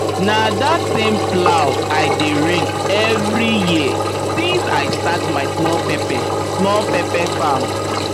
na that same plow i dey rent every year since i start my small pepper small pepper farm